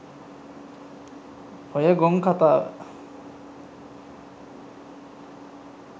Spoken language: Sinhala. ඔය ගොන් කතාව